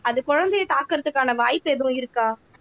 அது குழந்தையை தாக்குறதுக்கான வாய்ப்பு எதுவும் இருக்கா